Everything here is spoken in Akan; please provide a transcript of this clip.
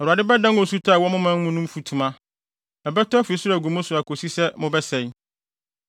Awurade bɛdan osutɔ a ɛwɔ mo man mu no mfutuma; ɛbɛtɔ afi soro agu mo so akosi sɛ mobɛsɛe.